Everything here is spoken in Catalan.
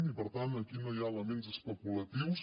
i per tant aquí no hi ha elements especulatius